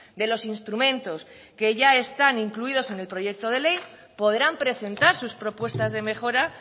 de los instrumentos que ya están incluidos en el proyecto de ley podrán presentar sus propuestas de mejora